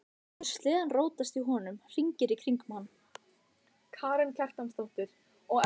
Létu sleðann rótast í honum, hringinn í kringum hann.